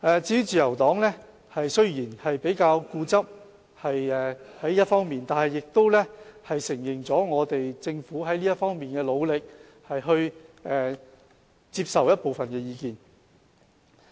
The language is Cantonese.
至於自由黨，雖然他們比較固執，但亦承認了政府在這方面的努力，並接受了部分意見。